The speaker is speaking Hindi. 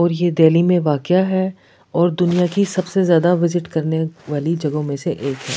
और यह दिल्ली में वाकया है और दुनिया की सबसे ज्यादा विजिट करने वाली जगहों में से एक है।